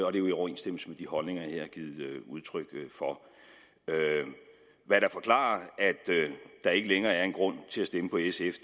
er jo i overensstemmelse med de holdninger jeg har givet udtryk for hvad der forklarer at der ikke længere er en grund til at stemme på sf